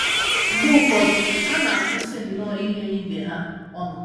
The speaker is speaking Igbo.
Mgbe ụfọdụ, ha na - akwụsị nnọọ ighe ibe ha ọnụ.